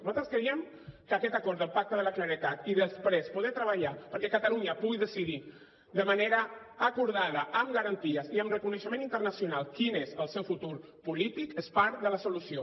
nosaltres creiem que aquest acord del pacte de la claredat i després poder treballar perquè catalunya pugui decidir de manera acordada amb garanties i amb reconeixement internacional quin és el seu futur polític és part de la solució